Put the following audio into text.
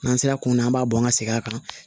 N'an sera kunna an b'a bɔ an ka segin a kan